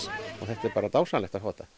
þetta er dásamlegt